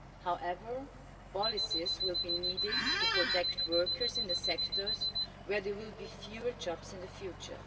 However, policies will be needed to protect workers in the sectors where there will be fewer jobs in the future.